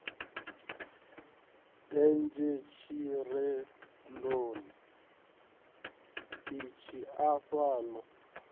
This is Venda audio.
denzhe tshirendoni itshi afha lo